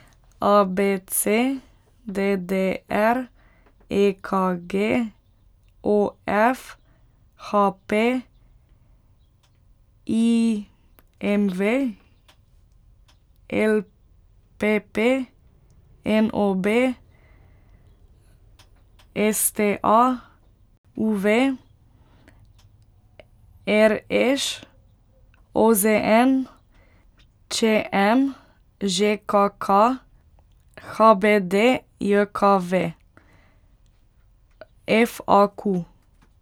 A B C; D D R; E K G; O F; H P; I M V; L P P; N O B; S T A; U V; R Š; O Z N; Č M; Ž K K; H B D J K V; F A Q.